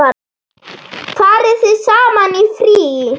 Farið þið saman í frí?